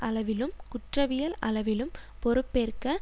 அளவிலும் குற்றவியல் அளவிலும் பொறுப்பேற்க